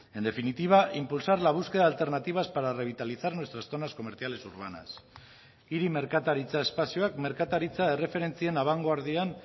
en definitiva impulsar la búsqueda de alternativas para revitalizar nuestras zonas comerciales urbanas hiri merkataritza espazioak merkataritza erreferentzien abangoardian